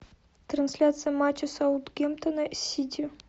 трансляция матча саутгемптона с сити